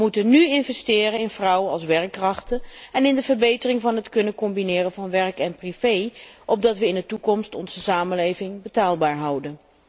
We moeten nu investeren in vrouwen als werkkrachten en in de verbetering van het kunnen combineren van werk en privé, opdat we in de toekomst onze samenleving betaalbaar houden.